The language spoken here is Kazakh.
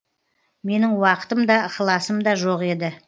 менің уақытым да ықыласым да жоқ еді